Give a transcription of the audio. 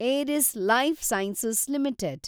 Eris lifesciences limited